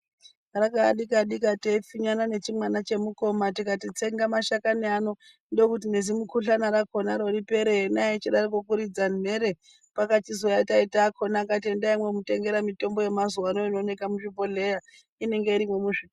Rakauya dika-dika teipfinyana nechimwana chemukoma tikati tsenga mashakani ano, ndokuti nezimukuhlani rakonaro ripere ena echidaroko kuridza mhere, pakachizouya taita akhona akati endai mwomutengera mitombo yamazuvaano inoonekwa muzvibhedhlera, inenge irimwo muzvi.